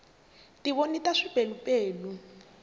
tivoni ta swipelupelu